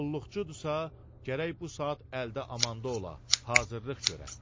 Qulluqçudursa, gərək bu saat əldə amanda ola, hazırlıq görə.